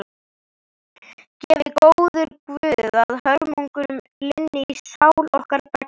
Gefi góður guð að hörmungunum linni í sál okkar beggja.